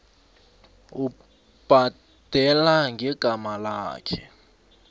ubhadela ngegama lakhe